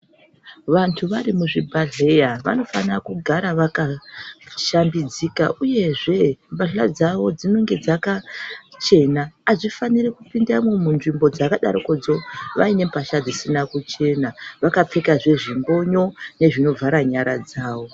Vantu vari muzvibhehlera vanofana kugara vakashambidzika uyezve pahla dzavo dzinenge dzakachena. Avafaniri kupindamo munzvimbo dzakadarokodzo vaine pahla dzisina kuchena vanofanira vakapfekazve zvimbonyo nezvinovhara nyara dzavo.